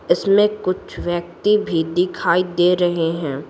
इसमें कुछ व्यक्ति भी दिखाई दे रहे हैं।